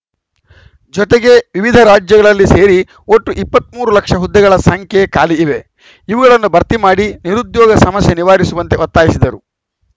ಜೊತೆಗೆ ವಿವಿಧ ರಾಜ್ಯಗಳಲ್ಲಿ ಸೇರಿ ಒಟ್ಟು ಇಪ್ಪತ್ತ್ ಮೂರು ಲಕ್ಷ ಹುದ್ದೆಗಳ ಸಂಖ್ಯೆ ಖಾಲಿ ಇವೆ ಇವುಗಳನ್ನು ಭರ್ತಿ ಮಾಡಿ ನಿರುದ್ಯೋಗ ಸಮಸ್ಯೆ ನಿವಾರಿಸುವಂತೆ ಒತ್ತಾಯಿಸಿದರು